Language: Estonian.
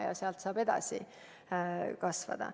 Ja sealt saab edasi areneda.